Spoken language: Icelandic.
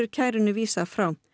kærunni vísað frá